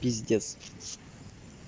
пиздец